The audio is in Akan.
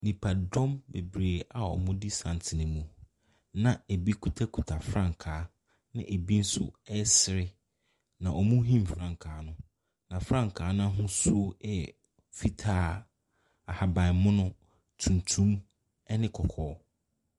Nniaodɔ beberee a ɔmo di santene mu. Na ebi kita kita frankaa. Na ebi nso ɛsere. Na ɔmo him frankaa no. Na frankaa n'ahosuo ɛyɛ fitaa, ahabanmono, tuntum ɛne kɔkɔɔ.